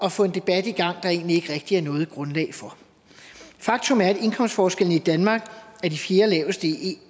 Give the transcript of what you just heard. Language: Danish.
at få en debat i gang der egentlig ikke rigtig er noget grundlag for faktum er at indkomstforskellene i danmark er de fjerdelaveste i